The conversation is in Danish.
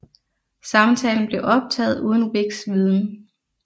Samtalen blev optaget uden Wiks viden